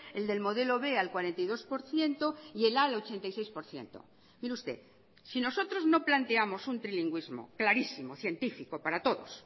el del modelo b al cuarenta y dos por ciento y el a al ochenta y seis por ciento mire usted si nosotros no planteamos un trilingüismo clarísimo científico para todos